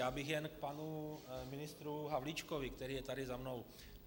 Já bych jen k panu ministru Havlíčkovi, který je tady za mnou.